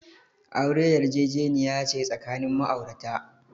Aure yarjejeniya ce tsakanin ma'aurata.